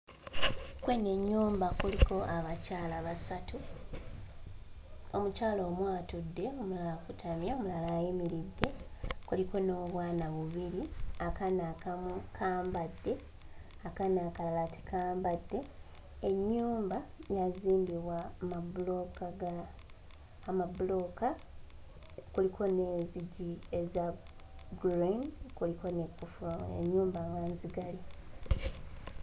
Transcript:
Ku eno ennyumba kuliko abakyala basatu, omukyala omu atudde omulala akutamye omulala ayimiridde, kuliko n'obwana bubiri, akaana akamu kambadde, akaana akalala tekambadde, ennyumba yazimbibwa mmabulooka ga, amabulooka kuliko n'enzijji eza green, kuliko n'ekkufulu ennyumba nga nzigale.